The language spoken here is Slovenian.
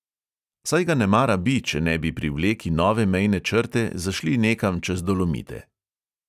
Saj ga nemara bi, če ne bi pri vleki nove mejne črte zašli nekam čez dolomite!